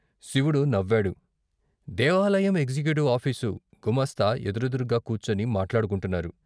శివుడు నవ్వాడు దేవాలయం ఎగ్జిక్యూచవ్ ఆఫీసు, గుమాస్తా ఎదురెదురుగా కూర్చుని మాట్లాడుకుంటున్నారు.